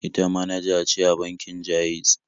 Ita manaja ce a bankin Ja'iz.